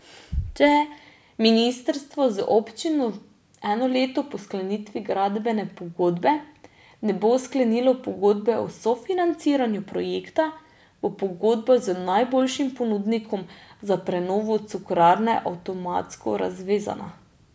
Če ministrstvo z občino eno leto po sklenitvi gradbene pogodbe ne bo sklenilo pogodbe o sofinanciranju projekta, bo pogodba z najboljšim ponudnikom za prenovo Cukrarne avtomatsko razvezana.